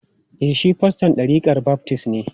E, shi faston ɗarikar baftis ne.